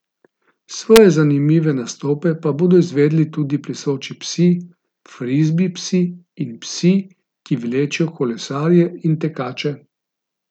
Svoje zanimive nastope pa bodo izvedli tudi plešoči psi, frizbi psi in psi, ki vlečejo kolesarje in tekače.